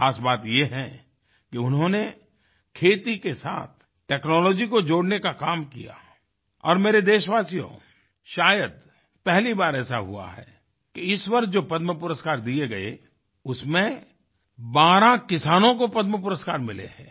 खास बात यह है कि उन्होंने खेती के साथ टेक्नोलॉजी को जोड़ने का काम किया और मेरे देशवासियों शायद पहली बार ऐसा हुआ है कि इस वर्ष जो पद्म पुरस्कार दिए गए उसमें 12 किसानों को पद्म पुरस्कार मिले हैं